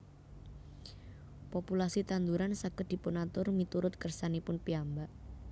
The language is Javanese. Populasi tanduran saged dipunatur miturut kersanipun piyambak